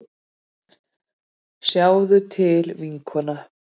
Sjáðu til, vinkona.